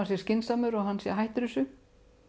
sé skynsamur og að hann sé hættur þessu